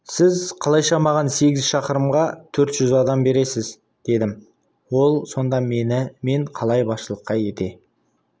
сіз қалайша маған сегіз шақырымға төрт жүз адам бересіз дедім ол сонда мен қалай басшылық ете